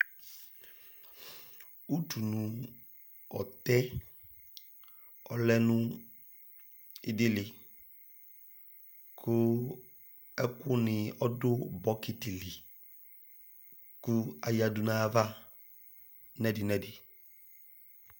Utu nu ɔtɛ ɔlɛ nu idili ku ɛku ni ɔdu bɔkiti li ku ayadu nayava nɛdi nɛdi